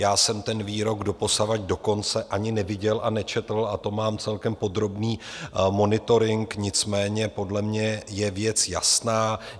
Já jsem ten výrok doposavad dokonce ani neviděl a nečetl, a to mám celkem podrobný monitoring, nicméně podle mě je věc jasná.